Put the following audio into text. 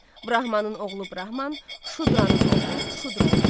Brahmanın oğlu Brahman, şudranın oğlu şudra olurdu.